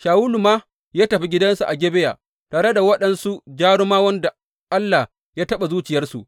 Shawulu ma ya tafi gidansa a Gibeya tare da waɗansu jarumawan da Allah ya taɓa zuciyarsu.